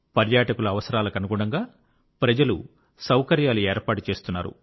పర్యాటకుల అవసరాలకనుగుణంగా ప్రజలు సౌకర్యాలు ఏర్పాటు చేస్తున్నారు